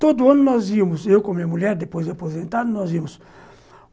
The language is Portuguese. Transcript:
Todo ano nós íamos, eu com a minha mulher, depois de aposentado, nós íamos.